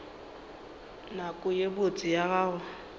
nako ye botse ya go